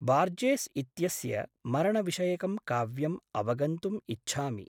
Borges इत्यस्य मरणविषयकं काव्यम् अवगन्तुम् इच्छामि।